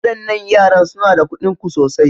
Waɗannan yaran suna da kuɗin ku sosai.